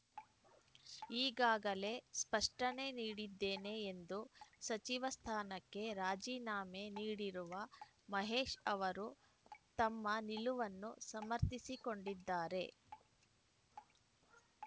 ಈಗಾಗಲೇ ಸ್ಪಷ್ಟನೆ ನೀಡಿದ್ದೇನೆ ಎಂದು ಸಚಿವ ಸ್ಥಾನಕ್ಕೆ ರಾಜಿನಾಮೆ ನೀಡಿರುವ ಮಹೇಶ್‌ ಅವರು ತಮ್ಮ ನಿಲುವನ್ನು ಸಮರ್ಥಿಸಿಕೊಂಡಿದ್ದಾರೆ